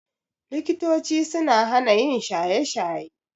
Likitochi suna hana yin shaye-shaye.